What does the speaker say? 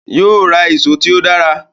Yóò ra ìṣó tí ó dára